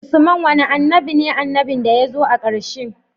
Usman wane annabi ne annabin da yazo a karshe